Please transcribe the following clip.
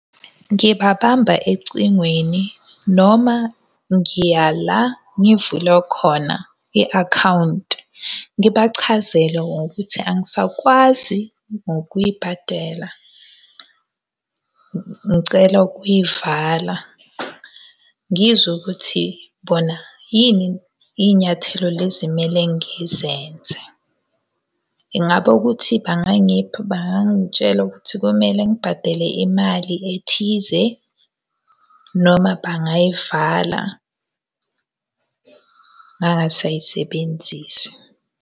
Ngibabamba ecingweni, noma ngiya la ngivule khona i akhawunti. Ngibachazele ngokuthi angisakwazi ngokuyibhadela, ngicela ukuy'vala. Ngizwe ukuthi bona yini iy'nyathelo lezi kumele ngizenze. Ingaba ukuthi bangangipha bangangitshela ukuthi kumele ngibhadele imali ethize. Noma bangayivala ngangasayisebenzisi.